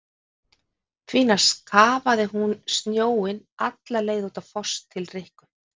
Því næst kafaði hún snjóinn alla leið út á Foss til Rikku.